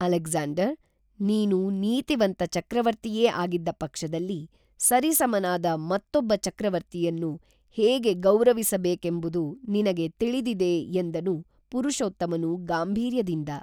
Alexander, ನೀನು ನೀತಿವಂತ ಚಕ್ರವರ್ತಿಯೇ ಆಗಿದ್ದ ಪಕ್ಷದಲ್ಲಿ ಸರಿಸಮನಾದ ಮತ್ತೊಬ್ಬ ಚಕ್ರವರ್ತಿಯನ್ನು ಹೇಗೆ ಗೌರವಿಸಬೇಕೆಂಬುದುನಿನಗೆ ತಿಳಿದಿದೆ ಎಂದನು ಪುರುಷೋತ್ತಮನು ಗಾಂಭೀರ್ಯದಿಂದ